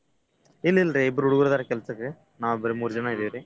ಇಲ್~ ಇಲ್ರಿ ಇಬ್ರ್ ಹುಡ್ಗ್ರ್ ಅದಾರ್ ರಿ ಕೆಲ್ಸಕ್ಕೆ ನಾವ್ ಬರೀ ಮೂರ್ ಜನ ಇದೇವ್ರೀ.